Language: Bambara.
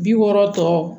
Bi wɔɔrɔ tɔ